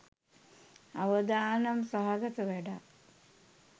අවදානම් සහගත වැඩක්.